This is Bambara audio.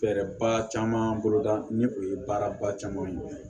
Fɛɛrɛba caman boloda ni o ye baaraba caman ye